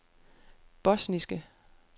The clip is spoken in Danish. bosniske